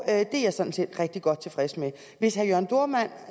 er jeg sådan set rigtig godt tilfreds med hvis herre jørn dohrmann